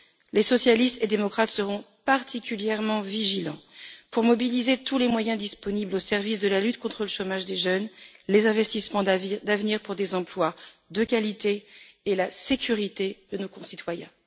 Les socialistes et démocrates seront particulièrement vigilants pour mobiliser tous les moyens disponibles au service de la lutte contre le chômage des jeunes, les investissements d'avenir pour des emplois de qualité et la sécurité de nos concitoyens.